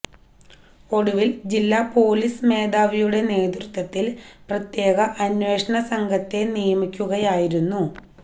ഒടുവില് ജില്ല പൊലീസ് മേധാവിയുടെ നേതൃത്വത്തില് പ്രത്യേക അന്വേഷണ സംഘത്തെ നിയമിക്കുകയായിരുന്നു